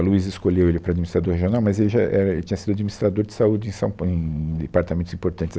A Luísa escolheu ele para administrador regional, mas ele já, é, é, ele tinha sido administrador de saúde em são pau, em departamentos importantes ali.